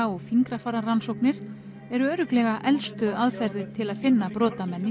og fingrafara rannsóknir eru örugglega elstu aðferðir til að finna brotamenn í